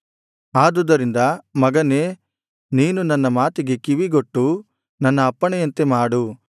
ಆದುದರಿಂದ ಮಗನೇ ನೀನು ನನ್ನ ಮಾತಿಗೆ ಕಿವಿಗೊಟ್ಟು ನನ್ನ ಅಪ್ಪಣೆಯಂತೆ ಮಾಡು